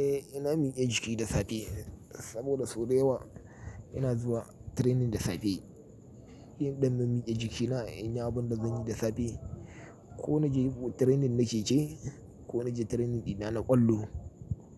Eh ina miyan jiki da safe saboda sau da yawa ina zuwa training da safe. Yin ɗan min miƙe jiki na in yi abin da zan yi da safe. Ko na je training na keke ko na je training ɗina na ƙwallo